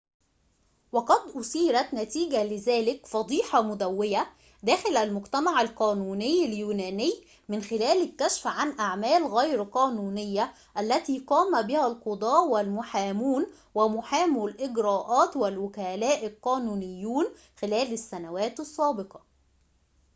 وقد أثيرت نتيجة لذلك فضيحة مدويّة داخل المجتمع القانوني اليوناني من خلال الكشف عن أعمال غير قانونية التي قام بها القضاة والمحامون ومحامو الإجراءات والوكلاء القانونيون خلال السنوات السابقة